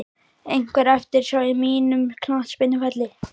Einhver eftirsjá á mínum knattspyrnuferli?